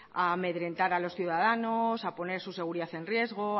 a amedrentar a los ciudadanos a poner su seguridad en riesgo